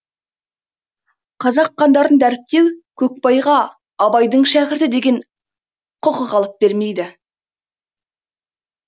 қазақ хандарын дәріптеу көкбайға абайдың шәкірті деген құқық алып бермейді